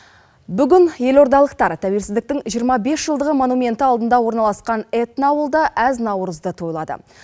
бүгін елордалықтар тәуелсіздіктің жиырма бес жылдығы монументі алдында орналасқан этноауылда әз наурызды тойлады